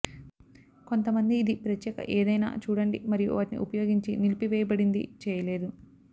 కొంతమంది ఇది ప్రత్యేక ఏదైనా చూడండి మరియు వాటిని ఉపయోగించి నిలిపివేయబడింది చేయలేదు